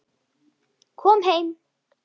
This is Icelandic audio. Kom heim!